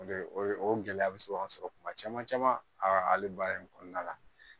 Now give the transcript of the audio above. O de o ye o gɛlɛya bɛ se ka sɔrɔ kuma caman caman a hali baara in kɔnɔna la